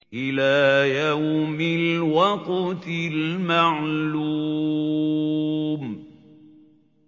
إِلَىٰ يَوْمِ الْوَقْتِ الْمَعْلُومِ